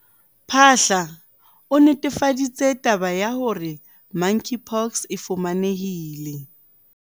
Phaahla, o netefaditse taba ya hore Monkeypox e fumanehile